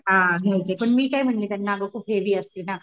हा घ्यायची आहे पण मी काय म्हणले त्यांना नको खूप हेवी असते ना